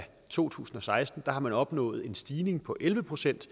to tusind og seksten har man opnået en stigning på elleve procent